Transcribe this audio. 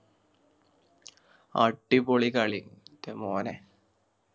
അടിപൊളി കളി ൻറെ മോനെ